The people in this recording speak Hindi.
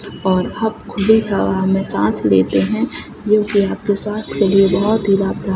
पौधा खुली हवा मे साँस लेते है जोकि आपके स्वास्थ्य के लिए बहुत ही लाभदायक --